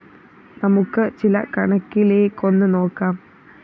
നമുക്ക് ചില കണക്കിലേക്കൊന്ന് നോക്കാം